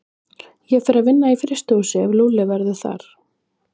Ég fer að vinna í frystihúsi ef Lúlli verður þar.